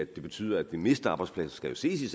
betyder at vi mister arbejdspladser skal jo ses i